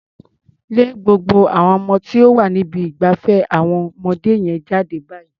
Lé gbogbo àwon ọmọ tó wà ní ibi ìgbafẹ́ àwọn ọmọdé yẹn jáde báyìí.